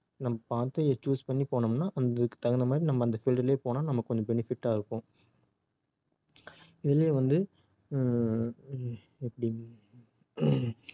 நம்ம பார்த்து அதை choose பண்ணி போனோம்னா அதுக்கு தகுந்த மாதிரி நம்ம அந்த field லே போனோம்னா நமக்கு கொஞ்சம் benefit ஆ இருக்கும் நீங்களும் வந்து அஹ் அஹ் எப்படி